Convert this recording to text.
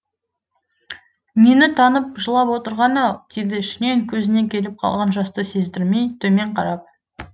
мені танып жылап отырғаны ау деді ішінен көзіне келіп қалған жасты сездірмей төмен қарап